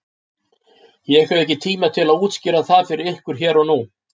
Ég hef ekki tíma til að útskýra það fyrir ykkur hér og nú.